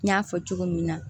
N y'a fɔ cogo min na